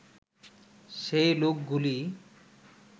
সেই লোকগুলি